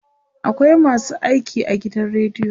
akwai masu aiki a gidan radio